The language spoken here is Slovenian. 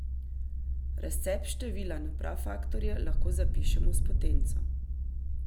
Razcep števila na prafaktorje lahko zapišemo s potenco.